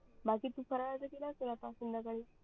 बाकी तू आता फराड्याच केल असल आता संध्याकाडी